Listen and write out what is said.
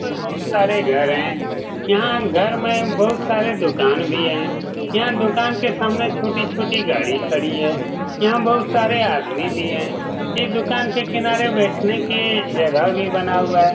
पर बहुत सारे घर है यहाँ घर में बहुत सारे दुकान भी है यहाँ दुकान के सामने छोटी-छोटी गाड़ी खड़ी है यहाँ बहुत सारे आदमी भी है इस दुकान के किनारे बैठने की जगह भी बना हुआ है।